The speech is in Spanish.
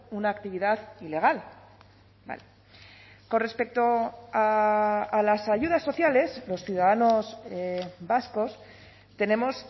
una actividad ilegal con respecto a las ayudas sociales los ciudadanos vascos tenemos